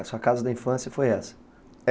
A sua casa da infância foi essa?